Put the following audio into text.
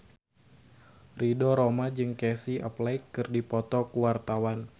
Ridho Roma jeung Casey Affleck keur dipoto ku wartawan